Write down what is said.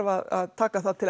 að taka það til